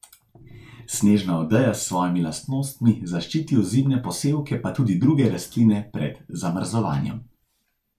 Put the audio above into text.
Snežna odeja s svojimi lastnostmi zaščiti ozimne posevke pa tudi druge rastline pred zamrzovanjem.